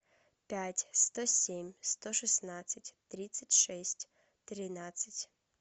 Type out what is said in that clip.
пять сто семь сто шестнадцать тридцать шесть тринадцать